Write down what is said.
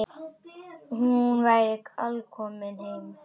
Hún væri alkomin heim.